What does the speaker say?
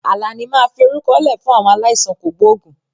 Àlàní máa fi orúkọ lẹ fún àwọn aláìsàn kògbógùn